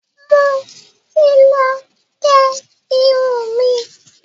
mọ tí lọ gé irun mí.